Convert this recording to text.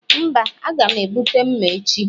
Mba, a ga m ebute mma echi